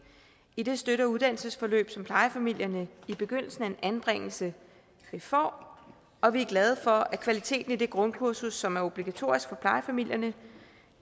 i det støtte og uddannelsesforløb som plejefamilierne i begyndelsen af en anbringelse får og vi er glade for at kvaliteten i det grundkursus som er obligatorisk for plejefamilierne